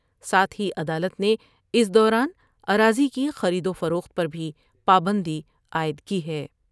ساتھ ہی عدالت نے اس دوران اراضی کی خرید وفروخت پر بھی پابندی عائد کی ہے ۔